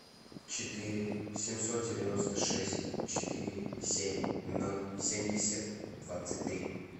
четыре семьсот девяносто шесть четыре семь ноль семьдесят двадцать три